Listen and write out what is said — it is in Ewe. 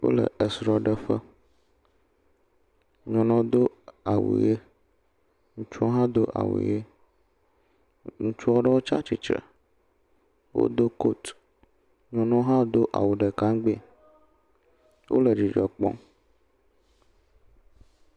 Wole esrɔ̃ɖeƒe, nyɔnua do awu ʋe ŋutsu hã do awu ʋe, ŋ.., ŋutsu aɖewo tsi atsitre, wodo kotu, nyɔnuawo hã do awu ɖeka ŋgbee, wole dzidzɔ kpɔm.